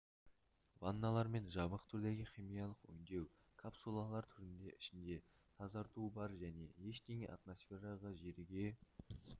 ванналар мен жабық түрдегі химиялық өңдеу капсулалар түрінде ішінде тазарту бар және ештеңе атмосфераға жерге